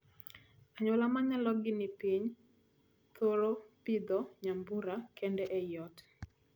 Anyuola ma nyalogi ni piny thoro pidho nyambura kende ei ot.